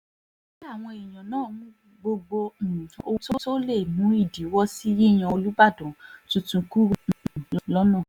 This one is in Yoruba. kí àwọn èèyàn náà mú gbogbo um ohun tó lè mú ìdíwọ́ sí yíyan olùbàdàn tuntun kúrò um lọ́nà